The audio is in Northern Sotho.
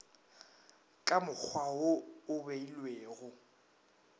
ka mokgwa wo o beilwego